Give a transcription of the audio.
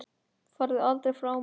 Farðu aldrei frá mér.